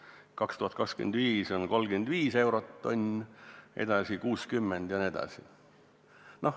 Aastal 2025 on 35 eurot tonn, edasi 60 jne.